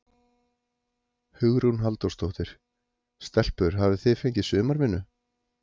Hugrún Halldórsdóttir: Stelpur hafið þið fengið sumarvinnu?